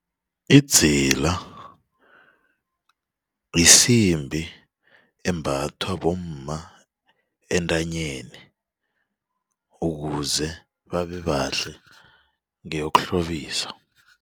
Idzila yisimbi embathwa bomma entanyeni ukuze babebahle ngeyokuhlobisa.